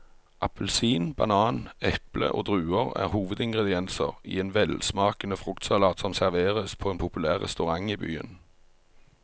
Appelsin, banan, eple og druer er hovedingredienser i en velsmakende fruktsalat som serveres på en populær restaurant i byen.